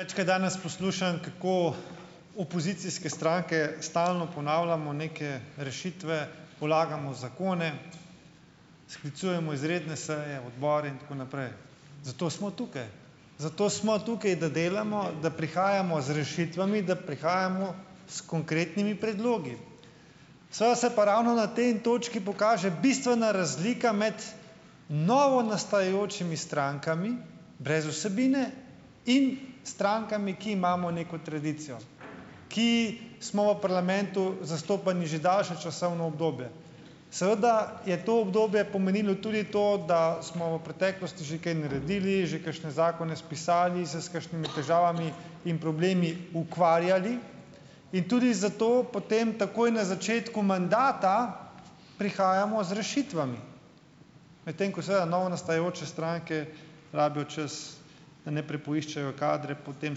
Večkrat danes poslušam, kako opozicijske stranke stalno ponavljamo neke rešitve, vlagamo zakone, sklicujemo izredne seje odbora in tako naprej. Zato smo tukaj. Zato smo tukaj. Da delamo, da prihajamo z rešitvami, da prihajamo s konkretnimi predlogi. Seveda se pa ravno na tej točki pokaže bistvena razlika med novonastajajočimi strankami brez vsebine in strankami, ki imamo neko tradicijo. Ki smo v parlamentu zastopani že daljše časovno obdobje. Seveda je to obdobje pomenilo tudi to, da smo v preteklosti že kaj naredili, že kakšne zakone spisali, se s kakšnimi težavami in problemi ukvarjali - in tudi zato potem takoj na začetku mandata prihajamo z rešitvami. Medtem ko sva novonastajajoče stranke rabijo čas, da najprej poiščejo kadre, potem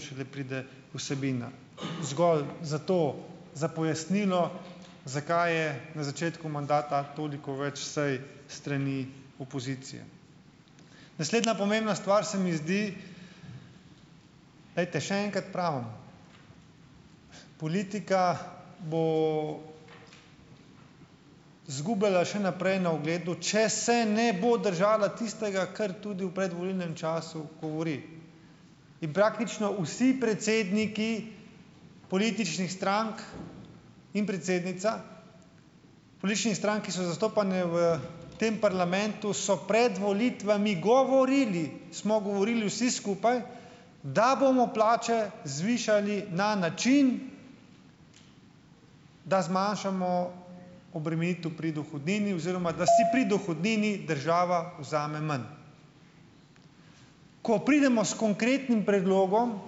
šele pride vsebina. Zgolj zato, za pojasnilo, zakaj je na začetku mandata toliko več sej s strani opozicije. Naslednja pomembna stvar se mi zdi - glejte, še enkrat pravim. Politika bo izgubljala še naprej na ugledu, če se ne bo držala tistega, kar tudi v predvolilnem času govori. In praktično vsi predsedniki političnih strank in predsednica - političnih strank, ki so zastopane v tem parlamentu, so pred volitvami govorili - smo govorili vsi skupaj, da bomo plače zvišali na način, da zmanjšamo obremenitev pri dohodnini oziroma da si pri dohodnini država vzame manj. Ko pridemo s konkretnim predlogom,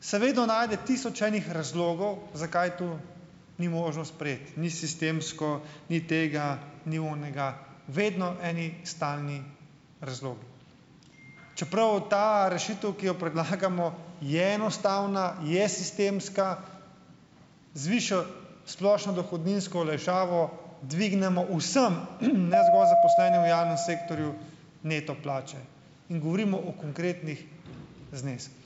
se vedno najde tisoč enih razlogov, zakaj to ni možno sprejeti. Ni sistemsko, ni tega, ni onega - vedno eni stalni razlogi. Čeprav ta rešitev, ki jo predlagamo, je enostavna, je sistemska, zviša splošno dohodninsko olajšavo, dvignemo vsem, - ne zgolj zaposlenim v javnem sektorju - neto plače. In govorimo o konkretnih zneskih.